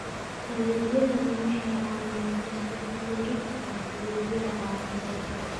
Adeegyadani waxay caawiyaan isku-dubbaridka adeegyada caafimaadka.